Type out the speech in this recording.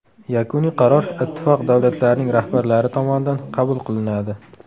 Yakuniy qaror Ittifoq davlatlarining rahbarlari tomonidan qabul qilinadi.